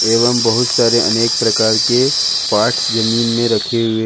एवं बहुत सारे अनेक प्रकार के पार्ट्स जमीन में रखे हुए--